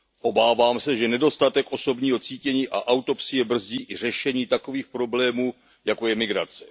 Obávám se, že nedostatek osobního cítění a autopsie brzdí i řešení takových problémů, jako je migrace.